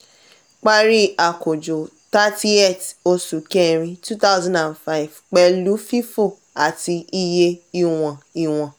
pari akojo thirtieth oṣù kẹrin two thousand and five pẹ̀lú fifo àti iye iwọn iwọn.